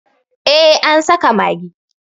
eh an saka magi